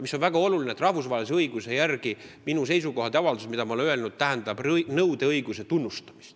Mis on väga oluline: rahvusvahelise õiguse järgi otsustades võib minu seisukohti ja avaldusi õigustatuks pidada, seda nõudeõigust tuleb tunnustada.